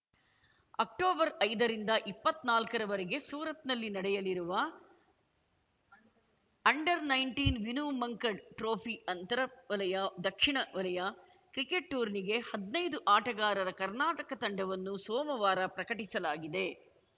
October ಐದರಿಂದ ಇಪ್ಪತ್ನಾಲ್ಕರವರೆಗೆ ಸೂರತ್‌ನಲ್ಲಿ ನಡೆಯಲಿರುವ under nineteen Vinoo Mankad trophy ಅಂತರ ವಲಯ ದಕ್ಷಿಣ ವಲಯ ಕ್ರಿಕೆಟ್‌ ಟೂರ್ನಿಗೆ ಹದ್ನೈದು ಆಟಗಾರರ ಕರ್ನಾಟಕ ತಂಡವನ್ನು ಸೋಮವಾರ ಪ್ರಕಟಿಸಲಾಗಿದೆ